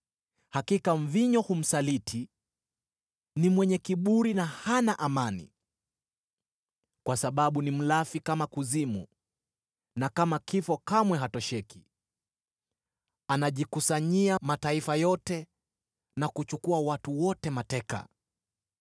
hakika mvinyo humsaliti; ni mwenye kiburi na hana amani. Kwa sababu ni mlafi kama kuzimu na kama kifo kamwe hatosheki; anajikusanyia mataifa yote na kuchukua watu wote mateka.